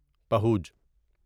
پہوج